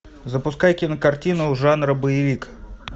запускай кинокартину жанра боевик